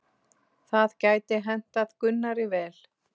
Það gæti hentað Gunnari vel.